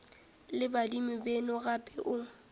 le badimo beno gape o